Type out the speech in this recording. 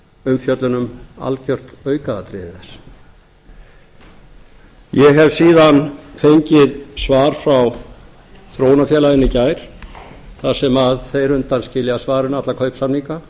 umfjöllun um algjört aukaatriði þess ég hef síðan fengið svar frá þróunarfélaginu í gær þar sem þeir undanskilja svarinu alla kaupsamninga